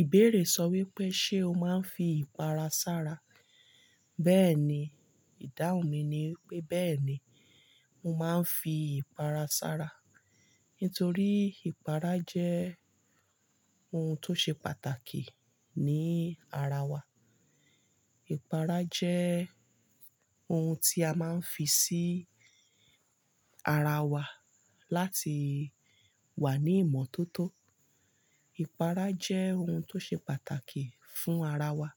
Ìbéèrè sọ wípé, ṣe ó máa ń fi ìpara sára? Bẹ́ẹ̀ni, ìdáhùn mi ni wipé bẹ́ẹ̀ni, mo máa ń fi ìpara sára. Ntorí ìpara jẹ́ oun tó ṣe pàtàkì ní ara wa. Ìpara jẹ́ oun tí a máa ń fi sí ara wa láti wà ní ìmọ́tótó. Ìpara jẹ́ oun tó ṣe pàtàkì fún ara wa.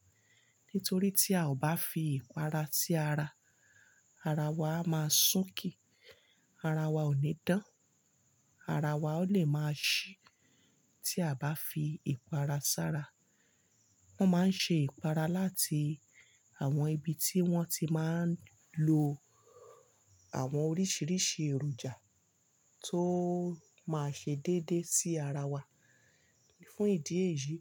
Ntorí tí a ò bá fi ìpara sí ara, ara wa a máa sunkì, ara wa ò ní dán, ara wa o lè máa ṣí tí a ò bá fi ìpara sára. Wọn máa ń ṣe ìpara láti àwọn ibi tí wón ti máa ń lo àwọn oríṣiríṣi èròjà tó máa ṣe déédé sí ara wa. Fún ìdí èyí,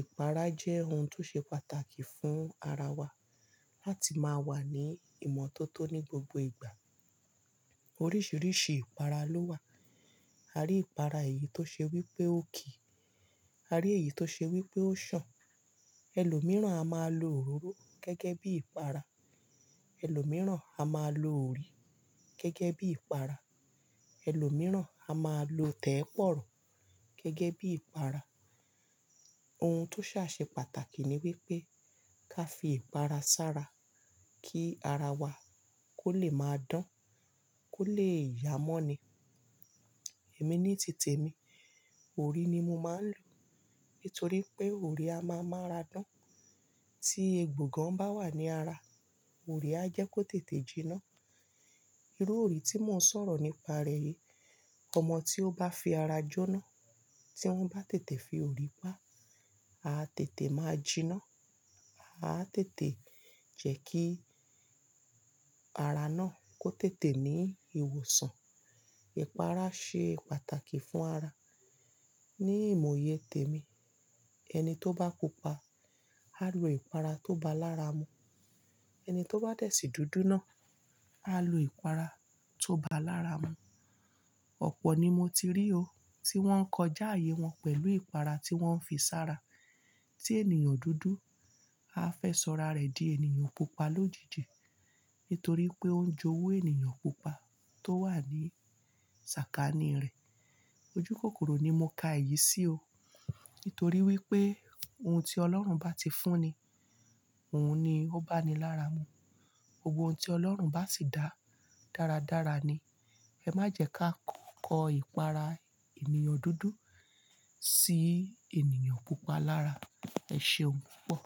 ìpara jẹ́ oun tó ṣe pàtàkì fún ara wa láti máa wà ní ìmọ́tótó ní gbogbo ìgbà. Oríṣiríṣi ìpara ló wà. A rí ìpara èyí tó ṣe wípé ó kì, a rí èyí tó ṣe wípé ó sàn. Ẹlòmíràn a máa lo òróró gẹ́gẹ́ bí ìpara. Ẹlòmíràn a máa lo òrí gẹ́gẹ́ bí ìpara. Ẹlòmíràn a máa lo tẹ́pọ̀rọ̀ gẹ́gẹ́ bí ìpara. Ohun tó ṣà ṣe pàtàkì ni wípé ká fi ìpara sára kí ara wa kó lè máa dán, kó lè yá mọ́ ni. Èmi ní tìtẹ̀ mi, òrí ni mo máa ń lò. Ntorí pé òrí a máa n mára dán. Tí egbò gan bá wà ní ara, òrí á jẹ́ kó tètè jiná. Irú òrí tí mò ń sọ̀rọ̀ nípa rẹ̀ yìí, ọmọ tí ó bá fi ara jóná, tí wọ́n bá tètè fi òrí pá, a tètè máa jiná. A tètè jẹ́ kí ara náà kó tètè ní ìwòsàn. Ìpara ṣe pàtàkì fún ara. Ní ìmọ̀ ìyè tèmi, ẹni tó bá pupa, á lo ìpara tó bá lára mu. Ẹni tó bá dẹ̀ sí dúdú náà, á lo ìpara tó bá lára mu. Ọ̀pọ̀ ni mo ti rí o tí wọ́n kọjá àyè wọn pẹ̀lú ìpara tí wọ́n n fi sára. Tí ènìyàn dúdú, a fẹ́ sọra rẹ̀ di ènìyàn pupa lójijì. Ntorí pé ó ń jowú ènìyàn pupa tó wà ní sàkání rẹ̀. Ojúkòkòrò ni mo ka èyí sí o. Nítorí wípé ohun tí Ọlọ́run bá ti fún ni, ohun ni ó bá ni lára mu. Gbogbo ohun tí Ọlọ́run bá sì dá dáradára ni. Ẹ má jẹ ká k-- kọ ìpara ènìyàn dúdú sí ènìyàn pupa lára. Ẹ ṣeún pọ̀.